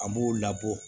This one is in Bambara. An b'o labɔ